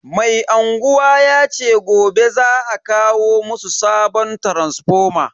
Mai unguwa yace gobe za a kawo musu sabon taransifoma.